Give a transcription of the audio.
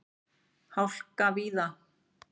Hálka víða